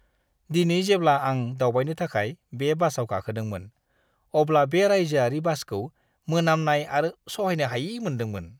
दिनै जेब्ला आं दावबायनो थाखाय बे बासआव गाखोदोंमोन, अब्ला बे रायजोआरि बासखौ मोनामनाय आरो सहायनो हायि मोनदोंमोन!